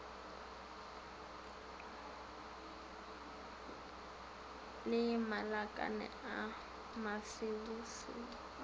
le malakane a mabusebuse a